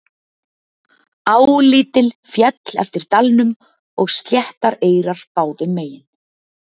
Á lítil féll eftir dalnum og sléttar eyrar báðum megin.